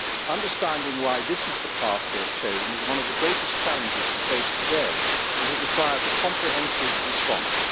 Understanding why this is the path they have chosen is one of the greatest challenges we face today, and it requires a comprehensive response.